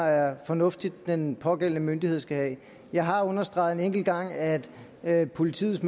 der er fornuftigt den pågældende myndighed skal have jeg har understreget en enkelt gang at at politiets